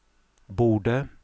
borde